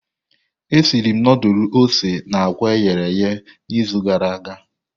Esiri m ndulu ose na àkwá e ghere eghe n'izu gara aga.